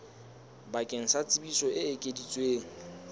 bakeng sa tsebiso e ekeditsweng